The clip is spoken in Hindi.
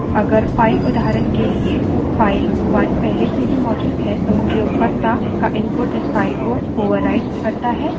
अगर file उदाहरण के लिए file 1 पहले से ही मौजूद है तो उपयोगकर्ता का input इस file पर ओवरराइट होता है